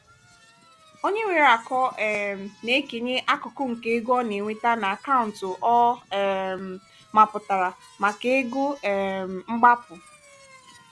onye nwere akọ um na-ekenye akụkụ nke ego ọ na-enweta na akaụntụ ọ um mapụtara maka "ego um mgbapu".